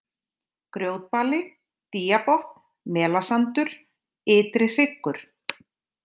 Grjótbali, Dýabotn, Melasandur, Ytri-Hryggur